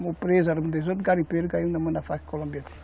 preso eram dezoito garimpeiros, caímos nas mãos da Farc Colombiana.